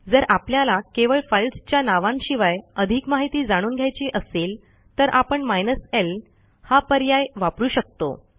जर आपल्याला केवळ फाईल्सच्या नावांशिवाय अधिक माहिती जाणून घ्यायची असेल तर आपण माइनस ल हा पर्याय वापरू शकतो